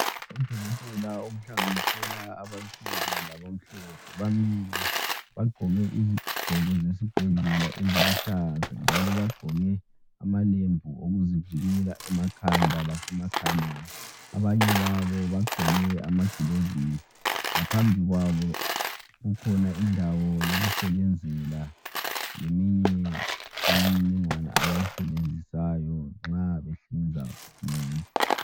Odokotela abahlanganisela abansundu laba mhlophe bamile bagqoke izigqoko zesibhedlela eziluhlaza njalo bagqoke amalembu okuzivikela emakhanda lasemakhaleni, abanye babo bagqoke amagilovisi ngaphambi kwabo kukhona indawo yokusebenzela yeminye yemininingwane abayisebenzisayo nxa behlinza umuntu.